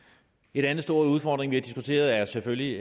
en anden stor udfordring vi har diskuteret er selvfølgelig